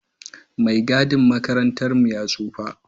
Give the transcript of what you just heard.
Mai gadin makarantar mu ya tsofa